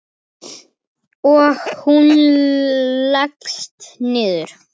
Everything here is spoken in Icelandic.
Og hún leggst niður.